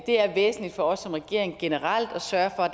er væsentligt for os som regering generelt at sørge for at